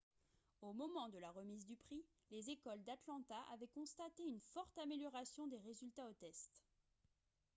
au moment de la remise du prix les écoles d'atlanta avaient constaté une forte amélioration des résultats aux tests